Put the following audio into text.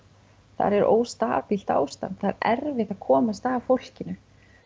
þar er ástand það er erfitt að komast að fólkinu